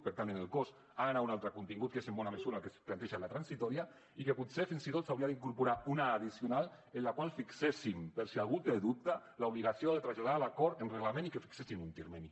per tant en el cos hi ha d’anar un altre contingut que és en bona mesura el que es planteja en la transitòria i que potser fins i tot s’hauria d’incorporar una addicional en la qual fixéssim per si algú té dubte l’obligació de traslladar l’acord en reglament i que fixéssim un termini